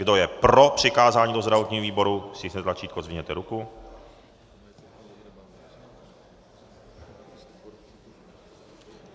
Kdo je pro přikázání do zdravotního výboru, stiskněte tlačítko a zvedněte ruku.